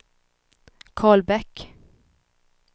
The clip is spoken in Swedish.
Karl Bäck